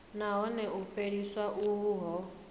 nahone u fheliswa uho hu